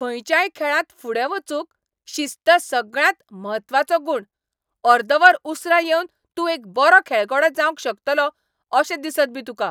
खंयच्याय खेळांत फुडें वचूंक शिस्त सगळ्यांत म्हत्वाचो गूण . अर्द वर उसरां येवन तूं एक बरो खेळगडो जावंक शकतलो अशें दिसत बी तुका.